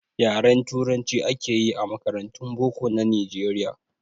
Yaren turanci akeyi a makarantun boko na nijeriya